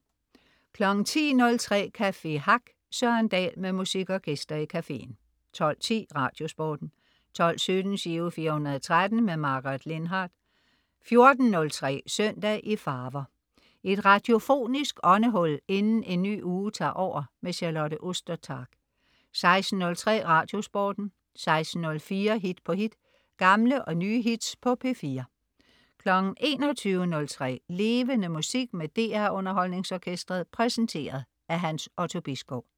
10.03 Café Hack. Søren Dahl med musik og gæster i caféen 12.15 Radiosporten 12.17 Giro 413. Margaret Lindhardt 14.03 Søndag i farver. Et radiofonisk åndehul inden en ny uge tager over. Charlotte Ostertag 16.03 Radiosporten 16.04 Hit på hit. Gamle og nye hits på P4 21.03 Levende Musik med DR UnderholdningsOrkestret. Præsenteret af Hans Otto Bisgaard